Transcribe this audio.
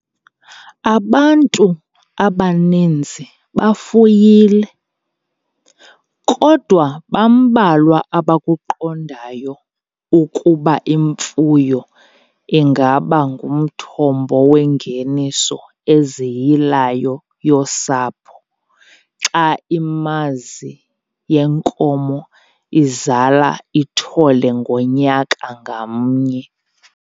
Abantu abaninzi bafuyile, kodwa bambalwa abakuqondayo ukuba imfuyo ingaba ngumthombo wengeniso eziyilayo yosapho xa imazi yenkomo izala ithole ngonyaka ngamnye.